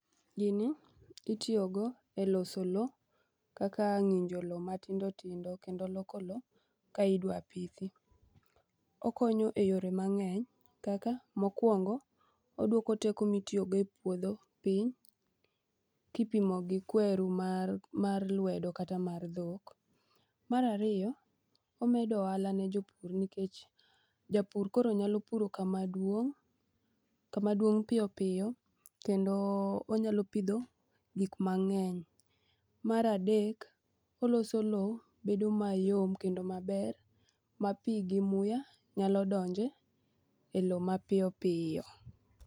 Gini itiyogo e loso lo kaka ng'injo lo matindotindo kendo loko lo ka idwa pithi. Okonyo e yore mang'eny kaka mokwongo' oduoko teko mitiyogo e puodho piny kipimo gi kweru mar lwedo kata mar dhok. Mar ariyo, omedo ohala ne jopur nikech japur koro nyalo puro kamaduong' piyo piyo kendo onyalo pidho gikmang'eny. Mar adek, oloso lo bedo mayom kendo maber ma pi gi muya nyalo donje e lo mapiyopiyo.